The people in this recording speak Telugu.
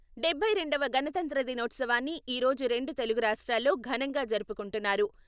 డబ్బై రెండవ గణతంత్ర దినోత్సవాన్ని ఈరోజు రెండు తెలుగు రాష్ట్రాల్లో ఘనంగా జరుపుకుంటున్నారు.